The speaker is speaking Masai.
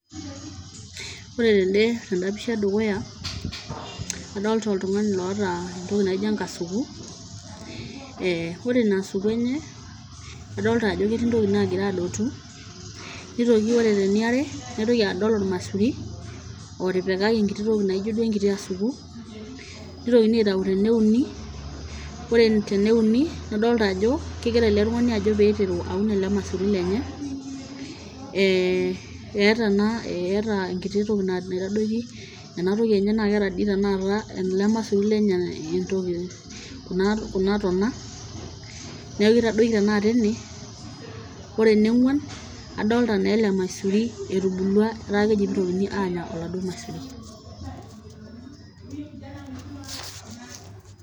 Oore teende teen'da pish e dukuya, adoolta oltung'ani loota entoki naijo enkasuku, oore iina asuku eenye adolta aajo etii intokitin nagira adotu, nitoki oore teniare, naitoki adol ormaisuri, otipikaki enkiti toki naijo duo enkiti asuku, neitokini aitau teneuni, oore teneuni adolta aajo kegira eele tung'ani aajo peyie eiteru aun eele maisuri lenye, eeta enkiti toki naitadoiki, naa keeta toi eele maisuri lenye kuuna tona, niaku keitadoiki tanakata eene, oore eniong'wan, adolta naa ele maisuri etubulua etaa keji peyie eitokini aanya eele maisuri.